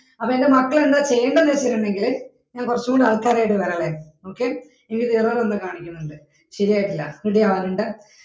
അപ്പൊ എന്റെ മക്കള് എന്താ ചെയ്യണ്ടെന്ന് വച്ചിട്ടുണ്ടെങ്കില് ഞാൻ കുറച്ചൂടെ ആൽക്കറുമായിട്ട് വരാവെ okay ഇതിന്റൊത് error എന്തോ കാണിക്കുന്നുണ്ട് ശരിയാക്കിത്തരാം